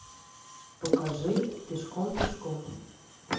покажи пешком пешком